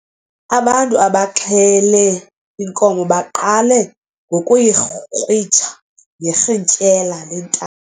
Abantu abaxhele inkomo baqale ngokuyikrwitsha ngerhintyela lenta